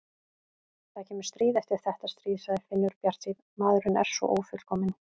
Það kemur stríð eftir þetta stríð, sagði Finnur bjartsýnn, maðurinn er svo ófullkominn.